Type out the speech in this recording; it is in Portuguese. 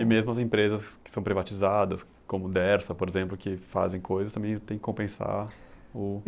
E mesmo as empresas que são privatizadas, como Dersa, por exemplo, que fazem coisas, também tem que compensar o?